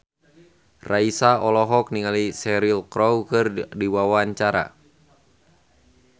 Raisa olohok ningali Cheryl Crow keur diwawancara